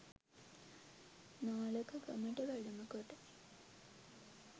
නාලක ගමට වැඩම කොට